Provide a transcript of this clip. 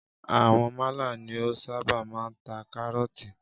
Àwọn málà ni o ṣábà máa ń ta kárọ̀tì.